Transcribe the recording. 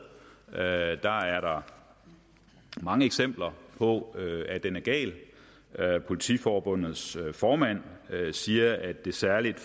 og at der er mange eksempler på at den er gal politiforbundets formand siger at det særligt